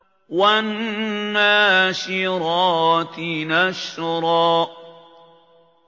وَالنَّاشِرَاتِ نَشْرًا